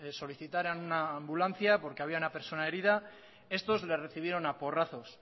solicitaran una ambulancia porque había una persona herida estos les recibieron a porrazos